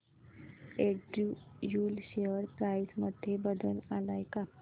Andrew Yule share price मध्ये बदल आलाय का